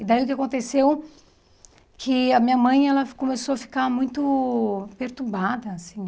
E daí o que que aconteceu é que a minha mãe ela começou a ficar muito perturbada, assim.